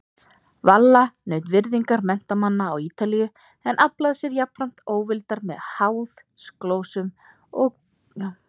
Valla naut virðingar menntamanna á Ítalíu en aflaði sér jafnframt óvildar með háðsglósum og þrætugirni.